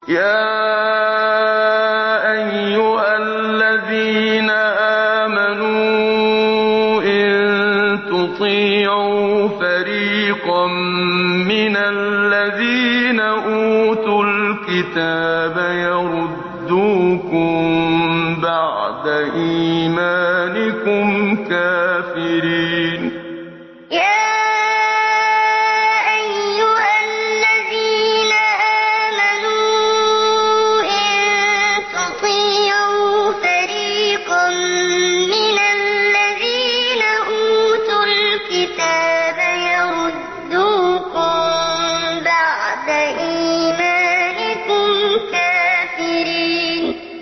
يَا أَيُّهَا الَّذِينَ آمَنُوا إِن تُطِيعُوا فَرِيقًا مِّنَ الَّذِينَ أُوتُوا الْكِتَابَ يَرُدُّوكُم بَعْدَ إِيمَانِكُمْ كَافِرِينَ يَا أَيُّهَا الَّذِينَ آمَنُوا إِن تُطِيعُوا فَرِيقًا مِّنَ الَّذِينَ أُوتُوا الْكِتَابَ يَرُدُّوكُم بَعْدَ إِيمَانِكُمْ كَافِرِينَ